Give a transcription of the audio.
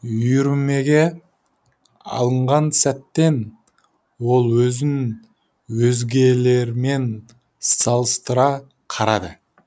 үйірмеге алынған сәттен ол өзін өзгелермен салыстыра қарады